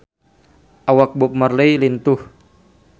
Awak Bob Marley lintuh